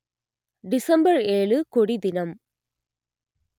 December ஏழு கொடி தினம்